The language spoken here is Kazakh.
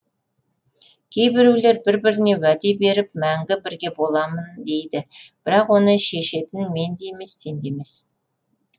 кейбіреулер бір біріне уәде беріп мәңгі бірге боламын дейді бірақ оны шешетін мен де емес сен емес